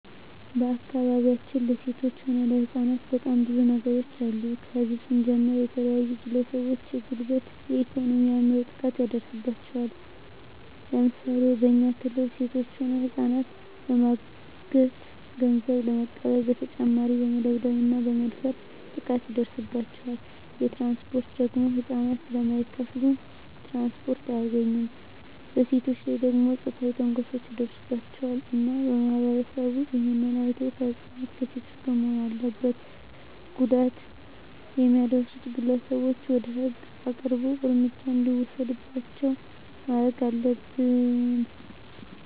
በአካባቢያችን ለሴቶች ሆነ ለህጻናት በጣም ብዙ ነገሮች አሉ ከህዝብ ስንጀምር የተለያዩ ግለሰቦች የጉልበት የኤኮኖሚ የአይምሮ ጥቃት ይደርስባቸዋል ለምሳሌ በኛ ክልል ሴቶች ሆነ ህጻናትን በማገት ገንዘብ በመቀበል በተጨማሪ በመደብደብ እና በመድፈር ጥቃት ይደርስባቸዋል በትራንስፖርት ደግሞ ህጻናት ስለማይከፋሉ ትራንስፖርት አያገኙም በሴቶች ላይ ደግሞ ጾታዊ ትንኮሳዎች ይደርስባቸዋል እና ማህበረሰቡ እሄን አይቶ ከህጻናት ከሴቶች ጎን መሆን አለበት ጉዳት የሚያደርሱት ግለሰቦች ወደ ህግ አቅርቦ እርምጃ እንዲወሰድባቸው ማረግ አለብን